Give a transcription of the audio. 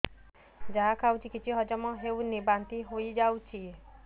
ଯାହା ଖାଉଛି କିଛି ହଜମ ହେଉନି ବାନ୍ତି ହୋଇଯାଉଛି